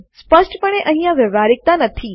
સ્પષ્ટપણે અહીંયા વ્યવ્હારીકતા નથી